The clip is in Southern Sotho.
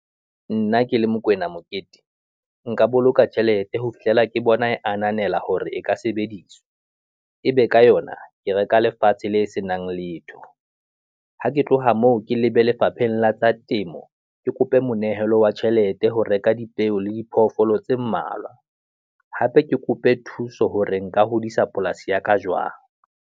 Nna ke le Mokoena Mokete, nka boloka tjhelete ho fihlella ke bona e ananela hore e ka sebediswa ebe ka yona ke reka lefatshe le senang letho. Ha ke tloha moo ke lebe Lefapheng la tsa Temo, ke kope monehelo wa tjhelete ho reka dipeo le diphoofolo tse mmalwa, hape ke kope thuso hore nka hodisa polasi ya ka jwang.